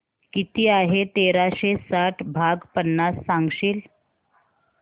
किती आहे तेराशे साठ भाग पन्नास सांगशील